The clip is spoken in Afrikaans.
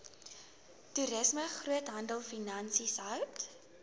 toerisme groothandelfinansies hout